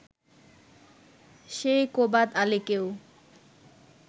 সেই কোবাদ আলীকেও